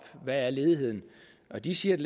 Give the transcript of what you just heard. hvad er ledigheden og de siger at